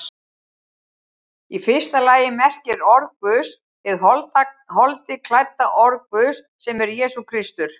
Í fyrsta lagi merkir orð Guðs hið holdi klædda orð Guðs, sem er Jesús Kristur.